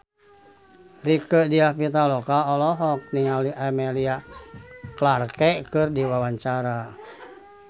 Rieke Diah Pitaloka olohok ningali Emilia Clarke keur diwawancara